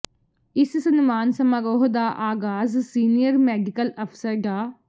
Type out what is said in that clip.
ਇਸ ਸਨਮਾਨ ਸਮਾਰੋਹ ਦਾ ਆਗਾਜ਼ ਸੀਨੀਅਰ ਮੈਡੀਕਲ ਅਫਸਰ ਡਾ